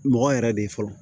Mɔgɔ yɛrɛ de ye fɔlɔ